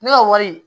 Ne ka wari